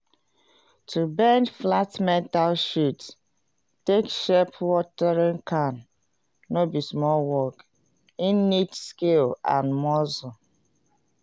to bend flat metal sheet take shape watering can no be small work e need skill and muscle.